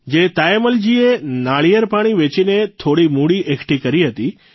જે તાયમ્મલજીએ નાળિયેર પાણી વેચીને થોડી મૂડી એકઠી કરી હતી